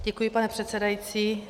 Děkuji, pane předsedající.